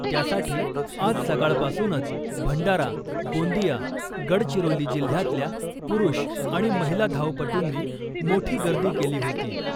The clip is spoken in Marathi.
त्यासाठी आज सकाळपासूनच भंडारा , गोंदिया , गडचिरोली जिल्ह्यातल्या पुरुष आणि महिला धावपटूंनी मोठी गर्दी केली होती .